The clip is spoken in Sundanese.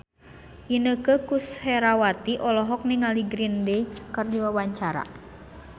Inneke Koesherawati olohok ningali Green Day keur diwawancara